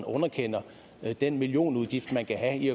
underkender den millionudgift man kan have i